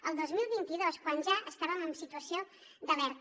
el dos mil vint dos quan ja estàvem en situació d’alerta